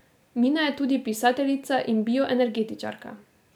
Mina je tudi pisateljica in bioenergetičarka.